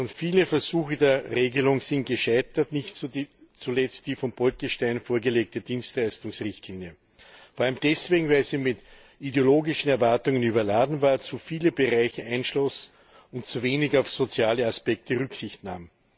Schon viele Versuche der Regelung sind gescheitert, nicht zuletzt die von Bolkestein vorgelegte Dienstleistungsrichtlinie vor allem deswegen, weil sie mit ideologischen Erwartungen überladen war, zu viele Bereiche einschloss und zu wenig auf soziale Aspekte Rücksicht nahm.